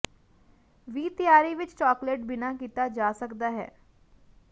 ਵੀ ਤਿਆਰੀ ਵਿਚ ਚਾਕਲੇਟ ਬਿਨਾ ਕੀਤਾ ਜਾ ਸਕਦਾ ਹੈ